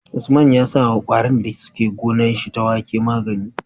Usman ya sawa kwarin da suke gonar shi ta wake magani